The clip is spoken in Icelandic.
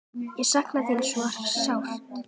Ég sakna þín svo sárt.